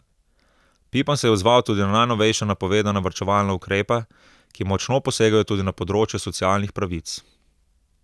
Pipan se je odzval tudi na najnovejše napovedane varčevalne ukrepe, ki močno posegajo tudi na področje socialnih pravic.